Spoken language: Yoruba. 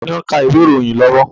Taàní ó ń ka ìwé ìròyìn lọ́wọ́?